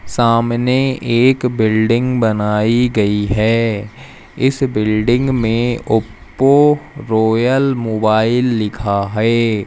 सामने एक बिल्डिंग बनाई गई है इस बिल्डिंग में ओप्पो रॉयल मोबाइल लिखा है।